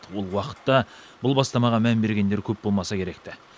ол уақытта бұл бастамаға мән бергендер көп болмаса керек ті